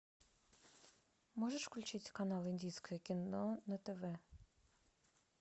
можешь включить канал индийское кино на тв